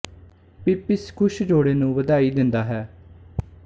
Pip ਇਸ ਖੁਸ਼ ਜੋੜੇ ਨੂੰ ਵਧਾਈ ਦਿੰਦਾ ਹੈ